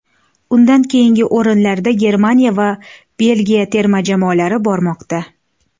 Undan keyingi o‘rinlarda Germaniya va Belgiya terma jamoalari bormoqda.